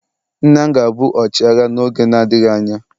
Nna m ga-abụ ọchịagha n'oge na-adịghị anya.